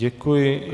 Děkuji.